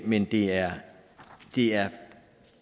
men det er er